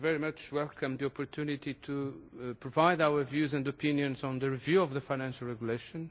very much welcome the opportunity to provide our views and opinions on the review of the Financial Regulation.